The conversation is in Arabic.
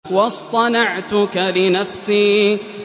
وَاصْطَنَعْتُكَ لِنَفْسِي